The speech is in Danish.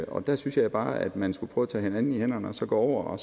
og der synes jeg bare at man skulle prøve at tage hinanden i hænderne og så gå over og